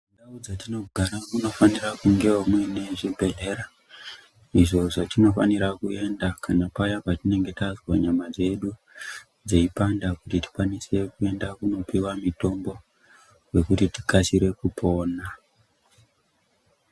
Mundau dzatinogara munofanira kunge mune zvibhedhlera izvo zvatinofanira kuenda kana paya patinenge tazwa nyama dzedu dzeipanda kuti tikwanise kuenda kunopiwa mitombo wekuti tikasire kupona.